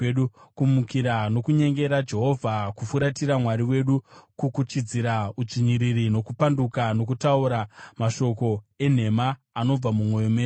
kumukira nokunyengera Jehovha, kufuratira Mwari wedu, kukuchidzira udzvinyiriri nokupanduka, nokutaura mashoko enhema anobva mumwoyo yedu.